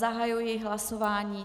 Zahajuji hlasování.